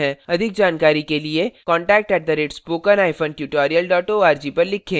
अधिक जानकारी के लिए contact @spokentutorial org पर लिखें